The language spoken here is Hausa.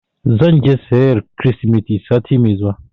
Zan je soyayyar Kirsimeti sati mai zuwa.